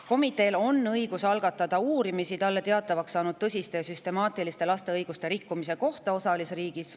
Komiteel on õigus algatada uurimisi talle teatavaks saanud tõsiste ja süstemaatiliste laste õiguste rikkumise kohta osalisriigis.